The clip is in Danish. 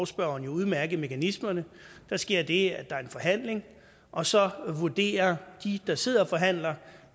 spørgeren jo udmærket mekanismerne der sker det at der er en forhandling og så vurderer de der sidder og forhandler